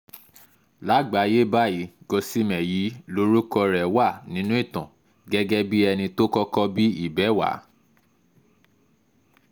lágbàáyé báyìí gọ́símẹ̀ yìí lorúkọ rẹ̀ wà nínú ìtàn gẹ́gẹ́ bíi ẹni tó kọ́kọ́ bí ìbẹ́wàá